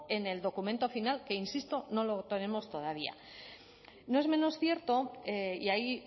en el documento final que insisto no lo tenemos todavía no es menos cierto y ahí